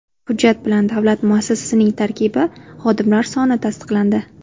Hujjat bilan davlat muassasasining tarkibi, xodimlar soni tasdiqlandi.